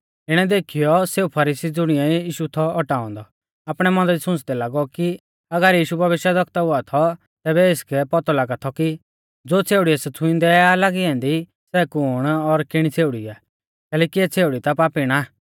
इणै देखीयौ सेऊ फरीसी ज़ुणिऐ यीशु थौ औटाऔ औन्दौ आपणै मौना दी सुंच़दै लागौ कि अगर यीशु भविष्यवक्ता हुआ थौ तैबै एसकै पौतौ लागा थौ की ज़ो छ़ेउड़ी एस छ़ुईंदै आ लागी ऐन्दी सै कुण और कीणी छ़ेउड़ी आ कैलैकि इऐ छ़ेउड़ी ता पापीण आ